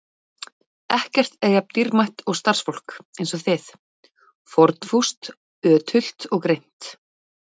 Ekkert er jafn dýrmætt og starfsfólk eins og þið: fórnfúst, ötult og greint.